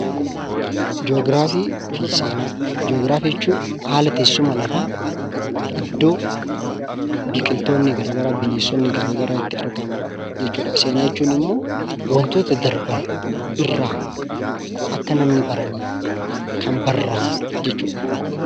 Jiyoogiraafii fi Seenaa Jiyoogiraafii jechuun haala teessuma lafaa, iddoo biqiltoonni garagaraa ,bineensonni garagaraa itti argaman jechuu dha. Seenaa jechuun immoo wantoota darban irraa akka namni baraniif kan barraa'an jechuu dha.